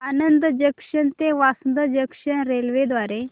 Anand junction ते Vasad junction railway द्वारे